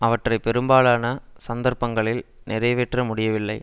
அவற்றை பெரும்பாலான சந்தர்ப்பங்களில் நிறைவேற்ற முடியவில்லை